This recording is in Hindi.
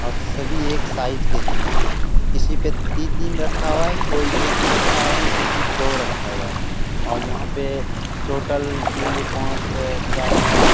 और सभी एक साइज के है किसी पे तीन दिन रखा हुआ हे कोई एक ही रखा हुआ हे कोई दो रखा हुआ है ओण यहाँ पे टोटल तीन दू पांच चार नव --